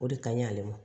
O de kaɲi ale ma